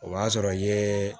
O b'a sɔrɔ ye